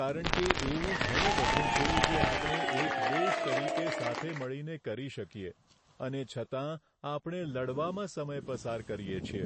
કારણ કે એવું ઘણું બધું છે, જે આપણે એક દેશ તરીકે સાથે મળીને કરી શકીએ અને છતાં આપણે લડવામાં સમય પસાર કરીએ છીએ.